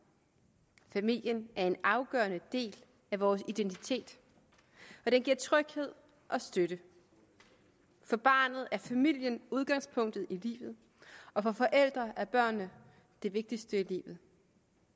familien er en afgørende del af vores identitet og den giver tryghed og støtte for barnet er familien udgangspunktet i livet og for forældrene er børnene det vigtigste i vi